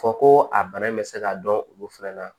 Fɔ ko a bana in bɛ se ka dɔn olu fɛn na